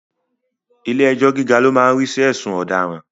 Ilẹ́ ẹjọ́ gíga lo máa ń rí sí ẹ̀sùn ọ̀daràn